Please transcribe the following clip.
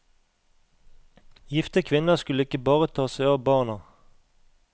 Gifte kvinner skulle ikke bare ta seg av barna.